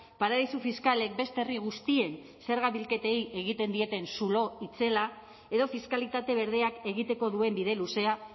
paradisu fiskalek beste herri guztien zerga bilketei egiten dieten zulo itzela edo fiskalitate berdeak egiteko duen bide luzea